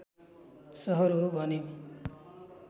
सहर हो भने